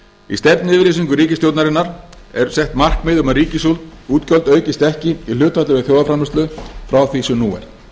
í stefnuyfirlýsingu ríkisstjórnarinnar er sett markmið um að ríkisútgjöld aukist ekki í hlutfalli við þjóðarframleiðslu frá því sem nú er